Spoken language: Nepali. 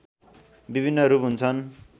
विभिन्न रूप हुन्छन्